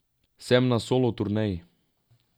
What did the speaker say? Sem na solo turneji.